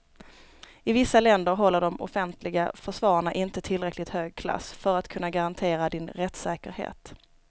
I vissa länder håller de offentliga försvararna inte tillräckligt hög klass för att kunna garantera din rättssäkerhet.